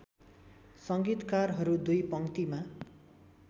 संगीतकारहरू दुई पङ्क्तिमा